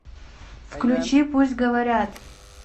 включи пусть говорят